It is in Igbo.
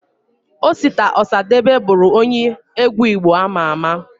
Osita Osade bụru onye egwu Igbo ama ama